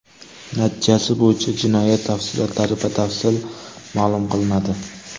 Natijasi bo‘yicha jinoyat tafsilotlari batafsil ma’lum qilinadi.